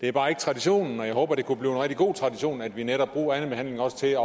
er bare ikke traditionen men jeg håber det kunne blive en rigtig god tradition at vi netop bruger andenbehandlingen også til at